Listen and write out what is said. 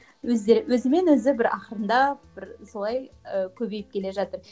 өздері өзімен өзі бір ақырындап бір солай ы көбейіп келе жатыр